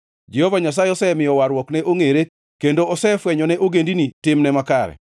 Jehova Nyasaye osemiyo warruokne ongʼere kendo osefwenyone ogendini timne makare.